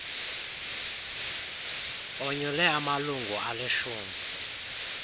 onyule amalunga alishumi